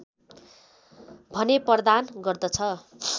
भने प्रदान गर्दछ